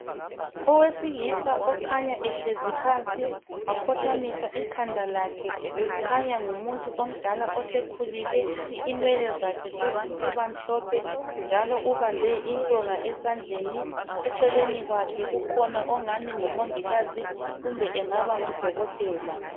Owesilisa okhanya ehlezi phansi wakhothamisa ikhanda lakhe .Kukhanya ngumuntu omdala osekhulile ,inwele zakhe sezisiba mhlophe .Njalo ubambe intonga esandleni, eceleni kwakhe kukhona ingani ngumongikazi kumbe engaba ngudokotela.